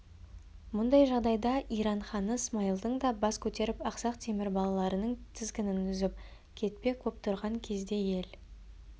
мұндай жағдайда иран ханы смайылдың да бас көтеріп ақсақ темір балаларының тізгінін үзіп кетпек боп тұрған кезде ел